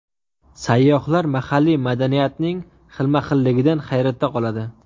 Sayyohlar mahalliy madaniyatning xilma-xilligidan hayratda qoladi.